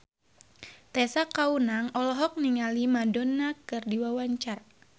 Tessa Kaunang olohok ningali Madonna keur diwawancara